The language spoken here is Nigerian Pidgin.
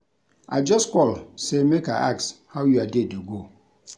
I just call sey make I ask how your day dey go.